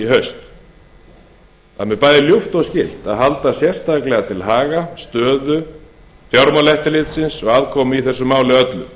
haust það er mér bæði ljúft og skylt að halda sérstaklega til haga stöðu fjármálaeftirlitsins og aðkomu að þessu máli öllu